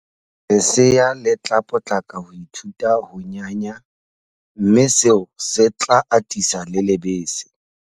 Lesea le tla potlaka ho ithuta ho nyanya mme seo se tla atisa le lebese.